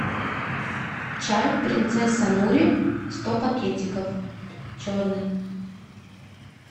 чай принцесса нури сто пакетиков черный